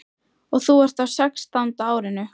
Og þú ert á sextánda árinu.